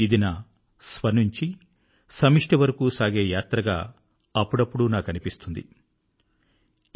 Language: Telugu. ఇది నా స్వ నుంచి సమిష్టి వరకూ సాగే యాత్రగా ఇది అప్పుడప్పుడూ నాకనిపిస్తూ ఉంటుంది